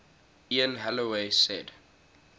ian holloway said